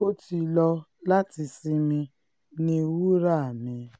ó ti lọ láti sinmi ní wura mi